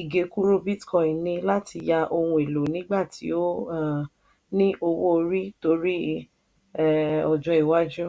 ìgekúrú bitcoin ní láti yá òhun èlò nígbà tí ó um ní owó lórí torí um ọjọ́ iwájú